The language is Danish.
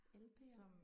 lp'er?